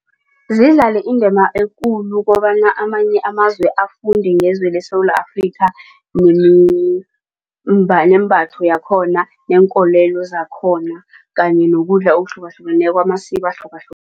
Zidlale indima ekulu kobana amanye amazwe afunde ngezwe leSewula Afrika nembatho yakhona neenkolelo zakhona kanye nokudla okuhlukahlukeneko amasiko